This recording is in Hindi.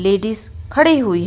लेडिस खड़ी हुई है.